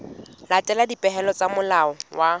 latela dipehelo tsa molao wa